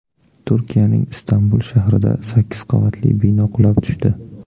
Turkiyaning Istanbul shahrida sakkiz qavatli bino qulab tushdi.